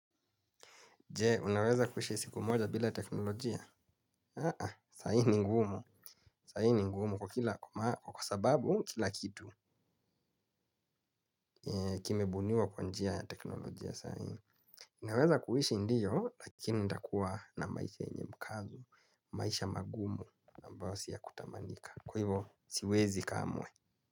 Jee, unaweza kuishi siku moja bila teknolojia? Aa, sai ni ngumu. Sai ni ngumu kwa kila kwa sababu kila kitu kimebuniwa kwa njia ya teknolojia saii. Unaweza kuhishi ndiyo, lakini ntakua na maisha yenye mkazo, maisha magumu ambayo si ya kutamanika. Kwa hivo, siwezi kamwe.